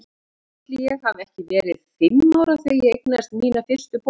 Ætli ég hafi ekki verið fimm ára þegar ég eignaðist mína fyrstu bók.